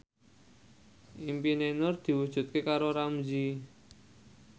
impine Nur diwujudke karo Ramzy